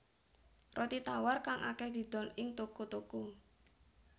Roti tawar kang akèh didol ing toko toko